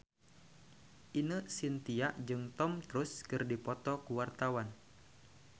Ine Shintya jeung Tom Cruise keur dipoto ku wartawan